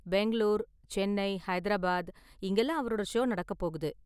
பெங்களூர், சென்னை, ஹைதராபாத் இங்கலாம் அவரோட ஷோ நடக்கப் போகுது.